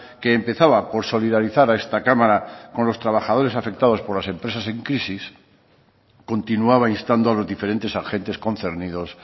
que empezaba por solidarizar a esta cámara con los trabajadores afectados por las empresas en crisis continuaba instando a los diferentes agentes concernidos